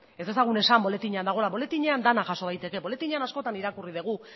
ez dezagun esan boletinan dagoela boletinean dena jaso daiteke boletinean askotan irakurri dugu